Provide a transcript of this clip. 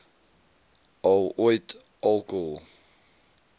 al ooit alkohol